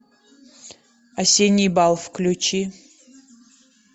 осенний бал включи